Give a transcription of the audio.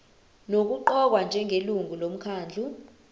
nokuqokwa njengelungu lomkhandlu